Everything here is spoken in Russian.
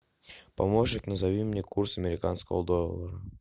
помощник назови мне курс американского доллара